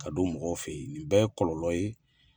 Ka don mɔgɔw fɛ yen nin bɛɛ ye kɔlɔ ye.